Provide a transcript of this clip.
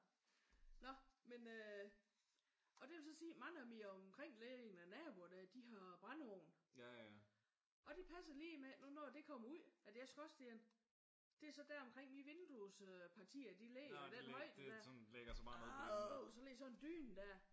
Nå men øh og det vil jo så sige mange af mine omkringliggende naboer der de har brændeovn og det passer lige med at nu når det kommer ud af deres skorstene det er så omkring mine vinduespartier ligger i den højde der adr! Så lige i sådan en dyne der